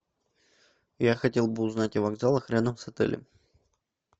я хотел бы узнать о вокзалах рядом с отелем